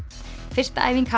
fyrsta æfing